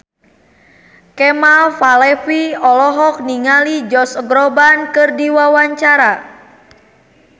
Kemal Palevi olohok ningali Josh Groban keur diwawancara